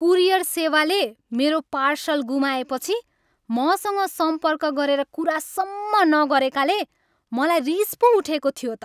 Courier सेवाले मेरो parcel गुमाएपछि मसँग सम्पर्क गरेर कुरासम्म नगरेकाले मलाई रिस पो उठेको थियो त।